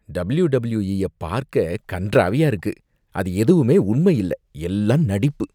WWE ய பார்க்க கண்றாவியா இருக்கு, அது எதுவுமே உண்மையில்ல, எல்லாம் நடிப்பு.